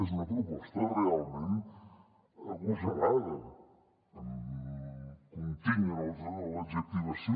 és una proposta realment agosarada em continc en l’adjectivació